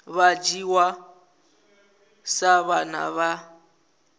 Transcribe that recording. vha dzhiwa sa vhana vha